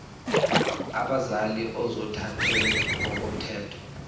abazali ozothathele ngokomthetho